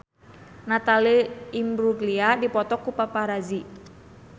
Natalie Imbruglia dipoto ku paparazi